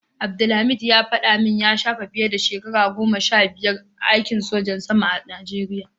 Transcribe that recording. Abdulhameed ya shafe fiye da shekaru goma sha biyar a aikin sojan saman a najeriya.